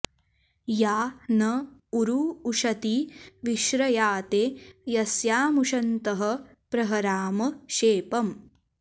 या न॑ ऊ॒रू उ॑श॒ती वि॒श्रया॑ते॒ यस्या॑मु॒शन्तः॑ प्र॒हरा॑म॒ शेप॑म्